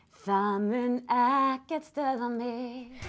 það mun ekkert stöðva mig